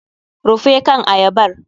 Rufe kan ayabar!